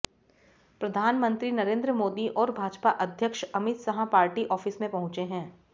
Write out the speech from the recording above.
प्रधानमंत्री नरेंद्र मोदी और भाजपा अध्यक्ष अमित शाह पार्टी ऑफिस में पहुंचे हैं